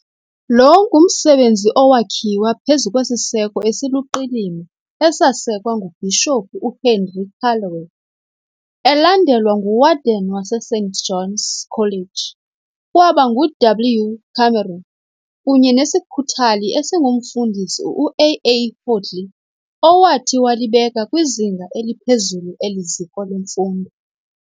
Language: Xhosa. Lo ngumsebenzi owakhiwa phezu kwesiseko esiluqilima esasekwa nguBhishophu uHenry Callaway, elandelwa nguWarden waseSt Johns College, kwaba ngu "W. Cameron, kunye nesikhuthali esingumfundisi uAA Hoadley, owathi walibeka kwizinga eliphezulu eli ziko lemfundo.